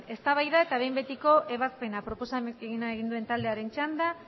eztabaida eta behin betiko ebazpena proposamena egin duen taldearen txanda